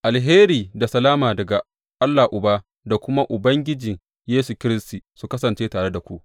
Alheri da salama daga Allah Uba da kuma Ubangiji Yesu Kiristi, su kasance tare da ku.